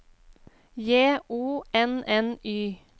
J O N N Y